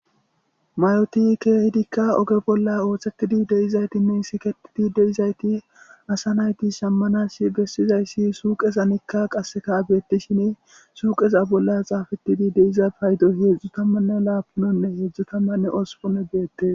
mayoti keehidikka oge bolla ooththekidi deizaytinne siketidi deizayti asa nayti sammanas bessizayssi suuqezanikka qasekaabeetti shin suuqeza bolla xaafetidi deiza paydo heedzdzu tammanne laapunonne heedzdzu tammanne ospone geette